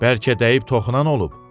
Bəlkə dəyib toxunan olub?